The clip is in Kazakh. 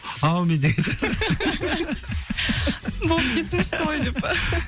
аумин деген сияқты болып кетіңізші солай деп па